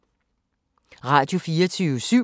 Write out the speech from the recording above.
Radio24syv